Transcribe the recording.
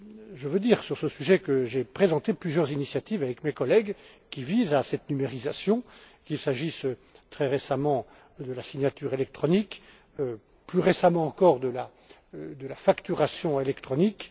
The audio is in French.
J'aimerais dire à cet égard que j'ai présenté plusieurs initiatives, avec mes collègues, qui visent cette numérisation, qu'il s'agisse très récemment de la signature électronique ou, plus récemment encore, de la facturation électronique.